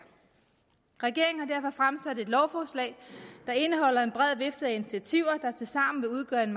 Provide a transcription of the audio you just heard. regeringen har derfor fremsat et lovforslag der indeholder en bred vifte af initiativer der tilsammen vil udgøre en